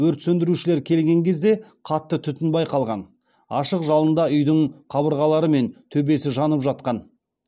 өрт сөндірушілер келген кезде қатты түтін байқалған ашық жалында үйдің қабырғалары мен төбесі жанып жатқан